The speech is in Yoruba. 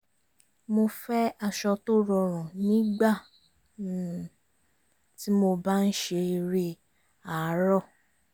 mo fẹ́ aṣọ tó rọrùn nígbà um tí mo bá ń ṣe eré àárọ̀